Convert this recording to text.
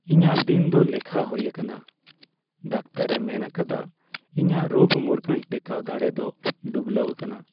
ᱤᱧᱟᱜ ᱫᱤᱱᱠᱚ ᱫᱚ ᱞᱮᱠᱷᱟ ᱦᱩᱭ ᱟᱠᱟᱱᱟ ᱾ ᱰᱟᱠᱛᱟᱨᱼᱮ ᱢᱮᱱ ᱟᱠᱟᱫᱟ ᱤᱧᱟᱜ ᱨᱳᱜ ᱢᱩᱨᱜᱟᱹᱱ ᱴᱮᱠᱟᱣ ᱫᱟᱲᱮ ᱫᱚ ᱰᱩᱵᱞᱟᱹᱣ ᱟᱠᱟᱱᱟ ᱾